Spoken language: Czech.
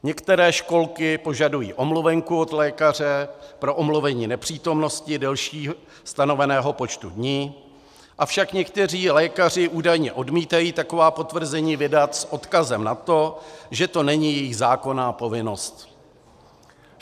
Některé školky požadují omluvenku od lékaře pro omluvení nepřítomnosti delší stanoveného počtu dní, avšak někteří lékaři údajně odmítají taková potvrzení vydat s odkazem na to, že to není jejich zákonná povinnost.